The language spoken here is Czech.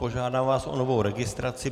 Požádám vás o novou registraci.